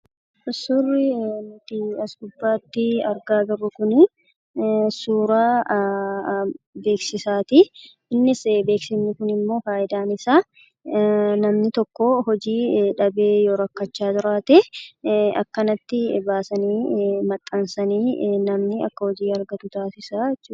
Suurri nuti as gubbaatti agarru kunnsuura beeksisaati. Innis beksisni kun immoo fayidaan isaa; namni tokko hojii dhabee yoo rakkachaa jiraatee, akkanatti baasanii maxxansanii namni akka hojii argatu taasisaa jechuudha.